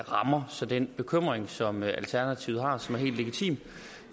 rammer så den bekymring som alternativet har og som er helt legitim